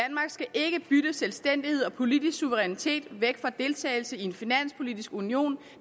ikke bytte selvstændighed og politisk suverænitet væk for deltagelse i en finanspolitisk union